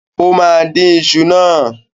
Ó máa dín iṣu náà.